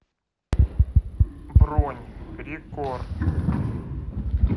бронь рекорд